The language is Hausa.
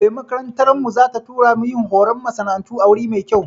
Eh, makarantar mu za ta tura mu yin horon masana'antu a wuri mai kyau